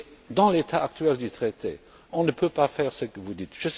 Mais dans l'état actuel du traité, on ne peut pas faire ce que vous dites.